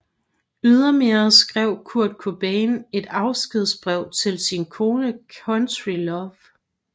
Ydermere skrev Kurt Cobain et afskedsbrev til sin kone Courtney Love